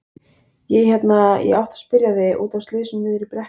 Ég hérna. ég átti að spyrja þig. út af slysinu niðri í brekku.